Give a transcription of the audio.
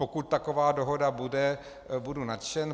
Pokud taková dohoda bude, budu nadšen.